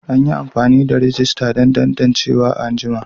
An yi amfani da rajista don tantancewa a ajinmu.